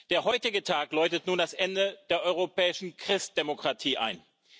Der heutige Tag läutet nun das Ende der europäischen Christdemokratie ein.